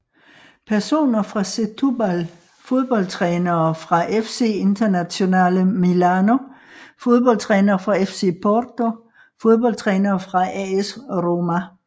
Personer fra Setúbal Fodboldtrænere fra FC Internazionale Milano Fodboldtrænere fra FC Porto Fodboldtrænere fra AS Roma